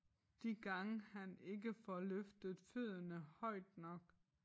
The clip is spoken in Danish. De gange han ikke får løftet fødderne højt nok